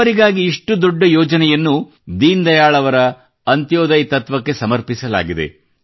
ಬಡವರಿಗಾಗಿ ಇಷ್ಟು ದೊಡ್ಡ ಯೋಜನೆಯನ್ನು ದೀನ್ ದಯಾಳ್ ಅವರ ಅಂತ್ಯೋದಯ್ ತತ್ವಕ್ಕೆ ಸಮರ್ಪಿಸಲಾಗಿದೆ